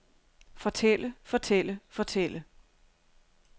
fortælle fortælle fortælle